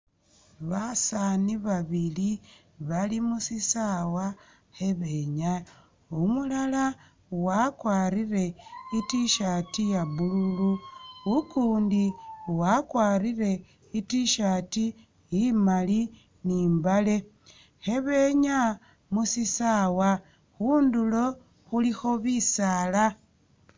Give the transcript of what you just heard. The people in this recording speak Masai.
Basaani babili bali musisaawa khebenyaaya, umulala wakwarire i’tshirt iya blue, ukundi wakwarire i’tshirt imaali ne imbaale khebenyaya musisaawa, khundulo khulikho bisaala.